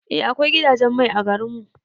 Eh akwai gidajen mai a garin mu.